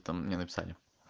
там мне написали